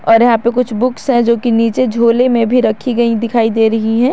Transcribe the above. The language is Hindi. और यहां पे कुछ बुक्स है जो कि नीचे झोले में भी रखी गई दिखाई दे रही है।